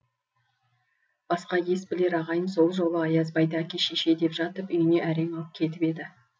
басқа ес білер ағайын сол жолы аязбайды әке шеше деп жатып үйіне әрең алып кетіп еді